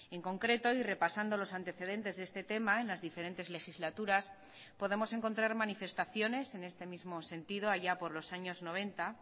en concreto y repasando los antecedentes de este tema en las diferentes legislaturas podemos encontrar manifestaciones en este mismo sentido allá por los años noventa